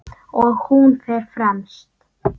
Og hún fer fremst.